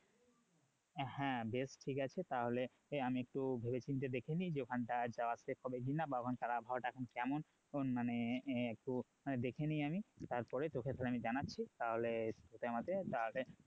হ্যাঁ বেশ ঠিক আছে তাহলে আমি একটু ভেবে চিনতে দেখে নি যে ওখানটায় যাওয়া safe হবে কি না বা ওখানকার আবহাওয়া টা এখন কেমন মানে হম হম একটু দেখে নি আমি তারপরে তোকে তাহলে আমি জানাচ্ছি তাহলে তুই আর আমি তাহলে